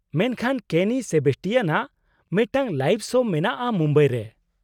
-ᱢᱮᱱᱠᱷᱟᱱ ᱠᱮᱱᱤ ᱥᱮᱵᱮᱥᱴᱤᱭᱟᱱᱟᱜ ᱢᱤᱫᱴᱟᱝ ᱞᱟᱭᱤᱵᱷ ᱥᱳ ᱢᱮᱱᱟᱜᱼᱟ ᱢᱩᱢᱵᱟᱭ ᱨᱮ ᱾